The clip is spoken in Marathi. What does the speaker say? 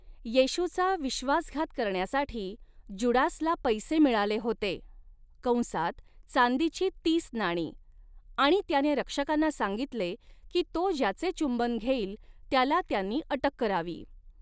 येशूचा विश्वासघात करण्यासाठी जुडासला पैसे मिळाले होते, कंसात चांदीची तीस नाणी आणि त्याने रक्षकांना सांगितले की तो ज्याचे चुंबन घेईल त्याला त्यांनी अटक करावी.